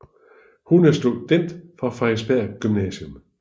Hun er student fra Frederiksberg Gymnasium